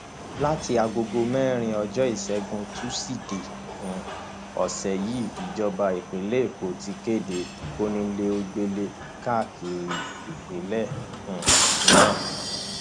láti aagogo mẹrin ọjọ ìṣẹgun tusidee um ọsẹ yìí ìjọba ìpínlẹ èkó ti kéde kónílogbélé káàkiri ìpínlẹ um náà